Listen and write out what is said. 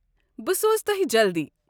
بہٕ سوزو تۄہہِ جلدی!